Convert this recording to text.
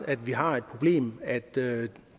at vi har det problem at det